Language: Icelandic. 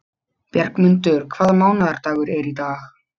Bjargmundur, hvaða mánaðardagur er í dag?